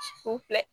U filɛ